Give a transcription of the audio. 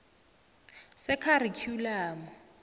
sekharikhyulamu